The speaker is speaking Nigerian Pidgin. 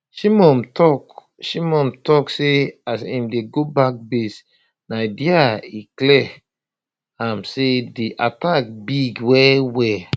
shimon tok shimon tok say as im dey go back base na dia e clear am say di attack big wellwell